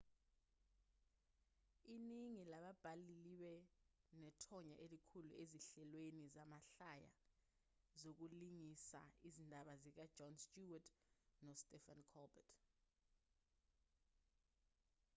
iningi lababhali libe nethonya elikhulu ezinhlelweni zamahlaya zokulingisa izindaba zikajon stewart nostephen colbert